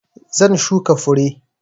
Zan shuka fure.